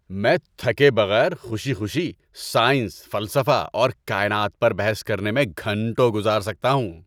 میں تھکے بغیر خوشی خوشی سائنس، فلسفہ اور کائنات پر بحث کرنے میں گھنٹوں گزار سکتا ہوں۔